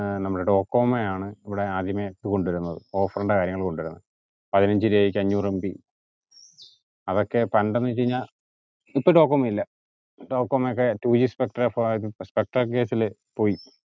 ഏർ നമ്മടെ ഡോകോമൊയാണ് ഇവ്ടെ ആദ്യം net കൊണ്ടുവരുന്നത് offer ന്റെ കാര്യങ്ങൾ കൊണ്ടുവരുന്നത് പതിനഞ്ച് രൂപയ്ക് അഞ്ഞൂറ് mb അതൊക്കെ പണ്ട് എന്ന് വെച്ച് കഴിഞ്ഞാ ഇപ്പോ ഡോകോമോ ഇല്ല ഡോകോമോയൊക്കെ two g spectrum ഏർ spectrum case ല് പോയി